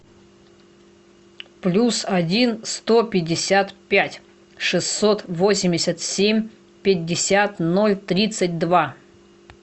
плюс один сто пятьдесят пять шестьсот восемьдесят семь пятьдесят ноль тридцать два